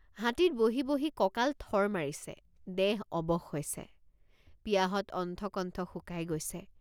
হাতীত বহি বহি কঁকাল থৰ মাৰিছে দেহ অৱশ হৈছে পিয়াহত অণ্ঠকণ্ঠ শুকাই গৈছে।